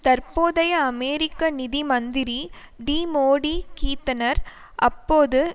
தற்போதைய அமெரிக்க நிதி மந்திரி டிமோதி கீத்னர் அப்போது